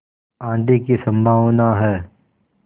आँधी की संभावना है